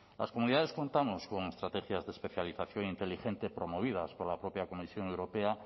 las comunidades contamos con estrategias de especialización inteligente promovidas por la propia comisión europea